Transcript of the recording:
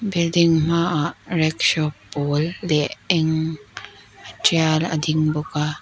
building hma ah rickshaw pawl leh eng tial a ding bawk a.